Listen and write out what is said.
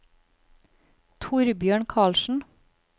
Torbjørn Carlsen